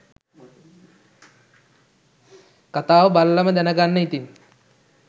කතාව බලලාම දැනගන්න ඉතින්.